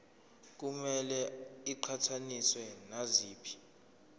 kumele iqhathaniswe naziphi